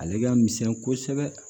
Ale ka misɛn kosɛbɛ